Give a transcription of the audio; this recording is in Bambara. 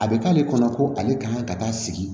A bɛ k'ale kɔnɔ ko ale kan ka taa sigi